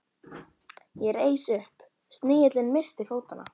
Ég reis upp, snigillinn missti fótanna.